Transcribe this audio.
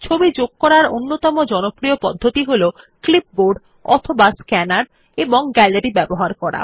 ছবি যোগ করার অন্যতম জনপ্রিয় পদ্ধতি হল ক্লিপবোর্ড অথবা স্ক্যানার এবং গ্যালারীর ব্যবহার করা